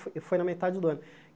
Fo foi na metade do ano.